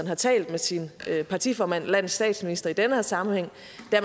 har talt med sin partiformand landets statsminister i denne sammenhæng